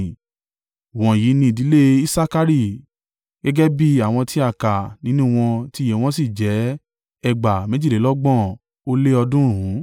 Wọ̀nyí ni ìdílé Isakari gẹ́gẹ́ bí àwọn tí a kà nínú wọn tí iye wọn sì jẹ́ ẹgbàá méjìlélọ́gbọ̀n ó lé ọ̀ọ́dúnrún (64,300).